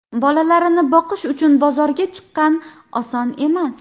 Bolalarini boqish uchun bozorga chiqqan, oson emas.